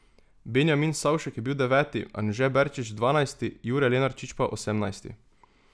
Benjamin Savšek je bil deveti, Anže Berčič dvanajsti, Jure Lenarčič pa osemnajsti.